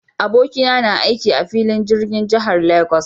Abokina na na aiki a filin jirgin jihar Lagos.